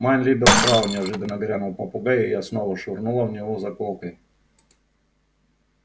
майн либер фрау неожиданно грянул попугай и я снова швырнула в него заколкой